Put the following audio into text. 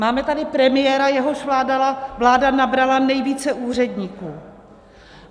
Máme tady premiéra, jehož vláda nabrala nejvíce úředníků.